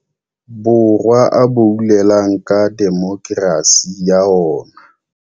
Borwa a boulelang ka demokerasi ya ona.